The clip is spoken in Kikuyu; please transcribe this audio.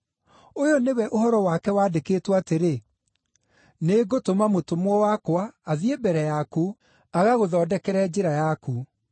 Ũyũ nĩwe ũhoro wake waandĩkĩtwo atĩrĩ: “ ‘Nĩngũtũma mũtũmwo wakwa athiĩ mbere yaku, agagũthondekere njĩra yaku.’